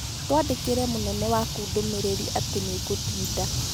Twandĩkĩre mũnene waku ndũmĩrĩri atĩ nĩ ngũtinda.